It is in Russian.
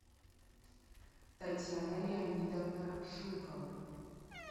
татьяна леонидовна жукова